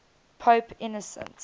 pope innocent